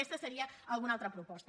aquesta seria alguna altra proposta